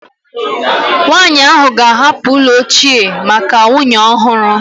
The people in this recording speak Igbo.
Nwanyị ahụ ga-ahapụ ụlọ ochie maka nwunye ọhụrụ